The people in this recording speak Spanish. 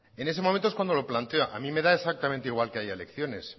en ese momento es cuando lo planteo a mí me da exactamente igual que haya elecciones